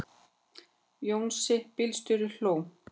Jónsi bílstjóri hló.